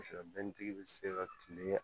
bɛ se ka tile